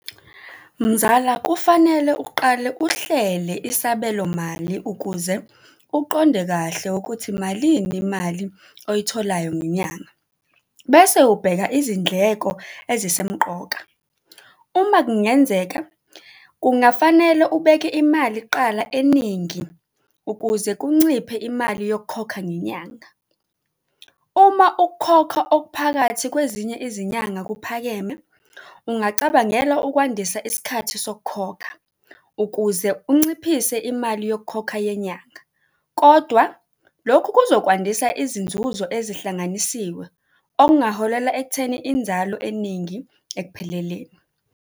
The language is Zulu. Mzala, kufanele uqale uhlele isabelomali ukuze uqonde kahle ukuthi malini imali oyitholayo ngenyanga bese ubheka izindleko ezisemqoka. Uma kungenzeka kungafanele ubeke imali kuqala eningi ukuze kunciphe imali yokukhokha ngenyanga. Uma ukukhokha okuphakathi kwezinye izinyanga kuphakeme, ungacabangela ukwandisa isikhathi sokukhokha ukuze unciphise imali yokukhokha yenyanga. Kodwa lokhu kuzokwandisa izinzuzo ezihlanganisiwe, okungaholela ekutheni inzalo eningi ekupheleleni.